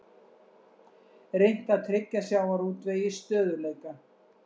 Reynt að tryggja sjávarútvegi stöðugleika